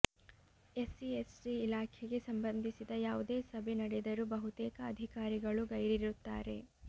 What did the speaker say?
SC ST ಇಲಾಖೆಗೆ ಸಂಬಂಧಿಸಿದ ಯಾವುದೇ ಸಭೆ ನಡೆದರೂ ಬಹುತೇಕ ಅಧಿಕಾರಿಗಳು ಗೈರಿರುತ್ತಾರೆ